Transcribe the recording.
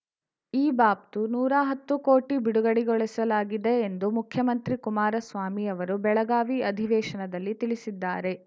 ಈ ಬಾಬ್ತು ನೂರಾ ಹತ್ತು ಕೋಟಿ ಬಿಡುಗಡೆಗೊಳಿಸಲಾಗಿದೆ ಎಂದು ಮುಖ್ಯಮಂತ್ರಿ ಕುಮಾರಸ್ವಾಮಿ ಅವರು ಬೆಳಗಾವಿ ಅಧಿವೇಶನದಲ್ಲಿ ತಿಳಿಸಿದ್ದಾರೆ